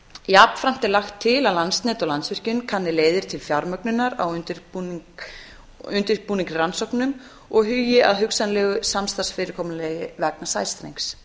jafnframt er lagt til að landsnet og landsvirkjun kanni leiðir til fjármögnunar á undirbúningsrannsóknum og hugi að hugsanlegu samstarfsfyrirkomulagi vegna sæstrengs